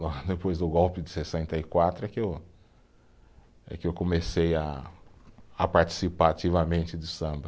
Logo depois do golpe de sessenta e quatro é que eu, é que eu comecei a a participar ativamente de samba.